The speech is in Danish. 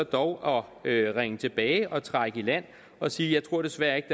dog at ringe tilbage og trække i land og sige jeg tror desværre ikke